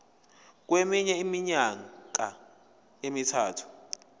kweminye iminyaka emithathu